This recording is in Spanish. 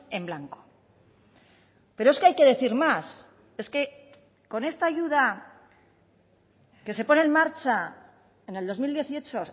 en blanco pero es que hay que decir más es que con esta ayuda que se pone en marcha en el dos mil dieciocho